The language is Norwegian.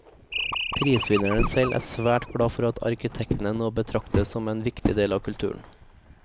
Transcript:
Prisvinneren selv er svært glad for at arkitektene nå betraktes som en viktig del av kulturen.